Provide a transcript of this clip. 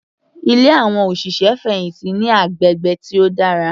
Ilé àwọn òṣìṣẹ́ fẹ̀hìntì ní agbègbè tí ó dára.